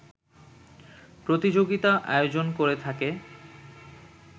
প্রতিযোগিতা আয়োজন করে থাকে